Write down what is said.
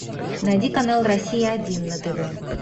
найди канал россия один на тв